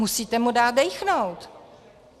Musíte mu dát dýchnout.